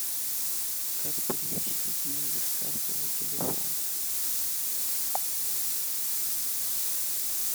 как перевести деньги с карты на телефон